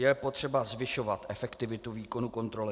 Je potřeba zvyšovat efektivitu výkonu kontroly.